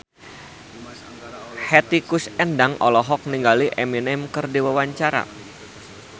Hetty Koes Endang olohok ningali Eminem keur diwawancara